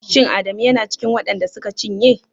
Shin Adamu yana cikin waɗan da suka cinye?